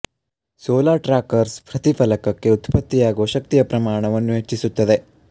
solar trackers ಪ್ರತಿ ಫಲಕಕ್ಕೆ ಉತ್ಪತ್ತಿಯಾಗುವ ಶಕ್ತಿಯ ಪ್ರಮಾಣವನ್ನು ಹೆಚ್ಚಿಸುತ್ತದೆ